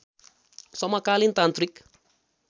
समकालीन तान्त्रिक